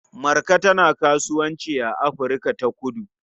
Marka tana kasuwanci a Afirka-ta-kudu.